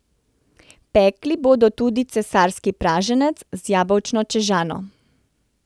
Pekli bodo tudi cesarski praženec z jabolčno čežano.